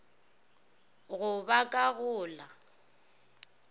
go ba ka go la